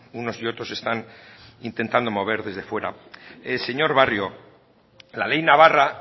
unos y otros están intentando mover desde fuera señor barrio la ley navarra